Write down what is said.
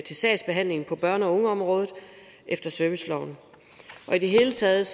sagsbehandlingen på børne og ungeområdet efter serviceloven i det hele taget